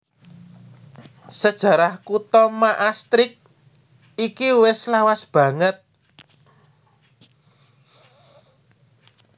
Sajarah kutha Maastricht iki wis lawas banget